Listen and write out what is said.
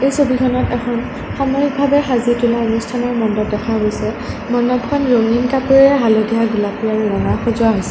এই ছবিখনত এখন সামৰিক ভাৱে সাজি তোলা অনুষ্ঠানৰ মণ্ডপ দেখা গৈছে মণ্ডপখন ৰঙীন কাপোৰেৰে হালধীয়া গোলাপ আৰু ৰঙাৰে সজোৱা হৈছে।